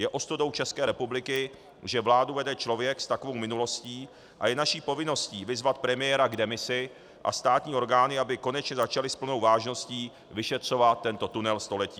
Je ostudou České republiky, že vládu vede člověk s takovou minulostí, a je naší povinností vyzvat premiéra k demisi a státní orgány, aby konečně začaly s plnou vážností vyšetřovat tento tunel století.